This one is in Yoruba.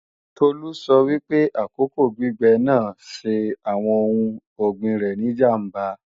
Tolú sọ wípé àkókò gbígbẹ́ náà ṣe àwọn oun ọ̀gbìn rẹ̀ ní ìjàmbá